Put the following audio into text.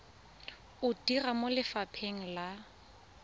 o dira mo lefapheng la